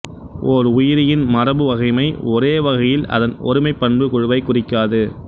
ஓர் உயிரியின் மரபுவகைமை ஒரேவகையில் அதன் ஒருமைப் பண்புக் குழுவைக் குறிக்காது